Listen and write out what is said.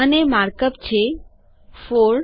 અને mark up છે160 4